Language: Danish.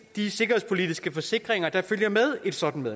de sikkerhedspolitiske forsikringer der følger med et sådant